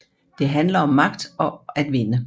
Det handler om magt og at vinde